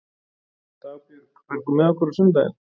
Dagbjörg, ferð þú með okkur á sunnudaginn?